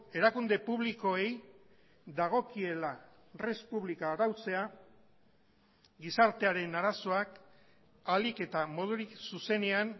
erakunde publikoei dagokiela res publica arautzea gizartearen arazoak ahalik eta modurik zuzenean